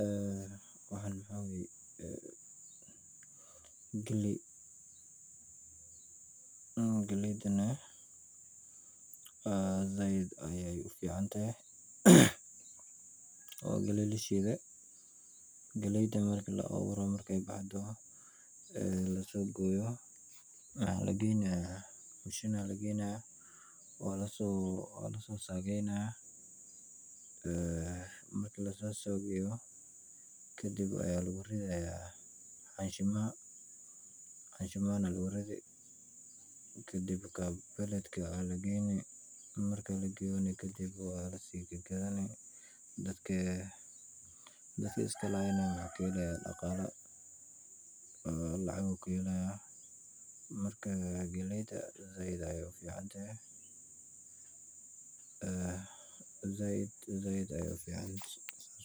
Aa waxaan maxa waya galay galaydanah saaid ayay uficantahay waa galay laa shiday galaydan marka la awuuroh markay baxdoh laa sogoyoh. maxa lagaynah machine. aya lagayni waa la sosagaynah marki laa sosagayoh. kadhib lagu ridayah xashimaha lagu ridi kadhib ka billater. marki lagayoh kadhib waa laa sii gad gadanin dadki iskahaynah wuxu kaa halaya daqalo. lacag ayu kaa halayah marka galayda saaid ayay uficantahy aa ayay uficantahay saas